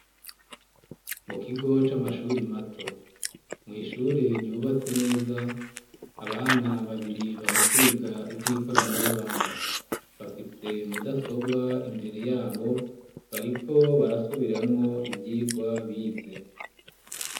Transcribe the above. Mu kigo c'amashuri mato mwishure ryubatse neza abana babiri bari kwiga ivy'ikoranabuhanga bafise mudasobwa imbere yabo bariko barasubiramwo ivyigwa bize.